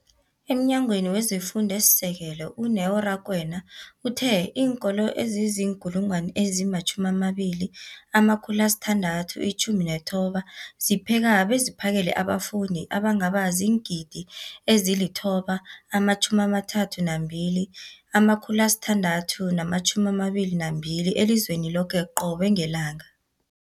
EmNyangweni wezeFundo esiSekelo, u-Neo Rakwena, uthe iinkolo ezizi-20 619 zipheka beziphakele abafundi abangaba ziingidi ezili-9 032 622 elizweni loke qobe ngelanga.